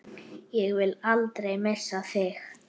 Ég vil aldrei missa þig.